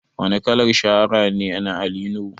Wane kalar shahara ne na Ali Nuhu?